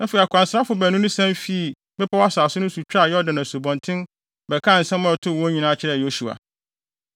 Afei akwansrafo baanu no sian fii bepɔw asase no so twaa Asubɔnten Yordan bɛkaa nsɛm a ɛtoo wɔn nyinaa kyerɛɛ Yosua.